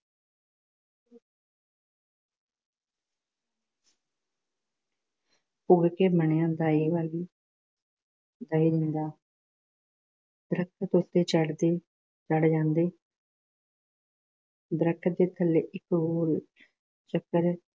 ਘੋੜੀ ਦਾ ਇਹ ਹੈ ਕਿ ਤਾਂ ਇਹ ਹੁੰਦਾ ਦਰੱਖਤ ਉੱਤੇ ਚੜ੍ਹਦੇ ਚੜ੍ਹ ਜਾਂਦੇ, ਦਰਖ਼ਤ ਦੇ ਥੱਲੇ ਇੱਕ ਗੋਲ ਚੱਕਰ